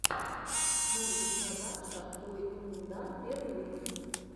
морбид казакша ойындар первый выпуск